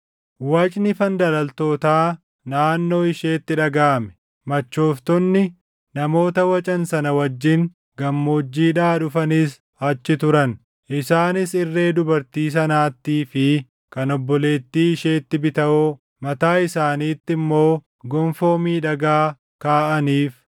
“Wacni fandalaltootaa naannoo isheetti dhagaʼame; machooftonni namoota wacan sana wajjin gammoojjiidhaa dhufanis achi turan; isaanis irree dubartii sanaattii fi kan obboleettii isheetti bitawoo, mataa isaaniitti immoo gonfoo miidhagaa kaaʼaniif.